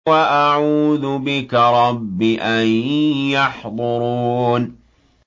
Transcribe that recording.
وَأَعُوذُ بِكَ رَبِّ أَن يَحْضُرُونِ